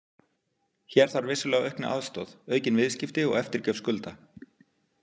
Hér þarf vissulega aukna aðstoð, aukin viðskipti og eftirgjöf skulda.